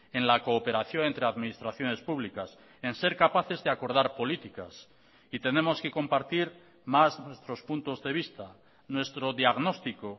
en la cooperación entre administraciones publicas en ser capaces de acordar políticas y tenemos que compartir más nuestros puntos de vista nuestro diagnóstico